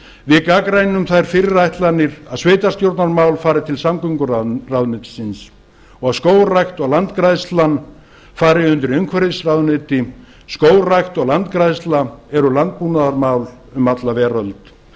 við gagnrýnum þær fyrirætlanir að sveitarstjórnarmál fari til samgönguráðuneytisins og að skógrækt og landgræðslan fari undir umhverfisráðuneyti skógrækt og landgræðsla eru landbúnaðarmál um alla veröld